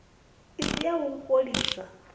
i si ya u fholisa